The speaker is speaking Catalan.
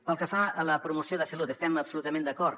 pel que fa a la promoció de salut estem absolutament d’acord